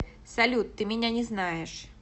салют ты меня не знаешь